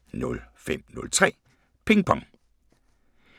05:03: Ping Pong